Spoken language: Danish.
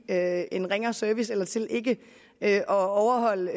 at give en ringere service eller til ikke at overholde